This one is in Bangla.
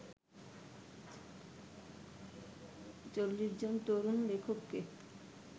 ৪০ জন তরুণ লেখককে